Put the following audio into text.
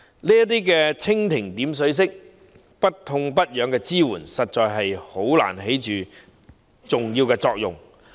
這種蜻蜓點水式不痛不癢的支援，實在難以起重要作用。